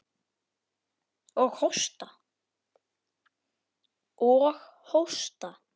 Og hósta.